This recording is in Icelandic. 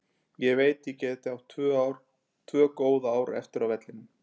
Ég veit ég gæti átt tvö góð ár eftir á vellinum.